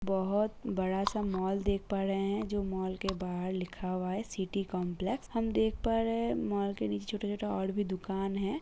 बहुत बड़ा सा मॉल देख पा रहे हैं जो मॉल के बाहर लिखा हुआ है सिटी कंपलेक्स हम देख पा रहे हैं मॉल के नीचे छोटा -छोटा और भी दुकान है।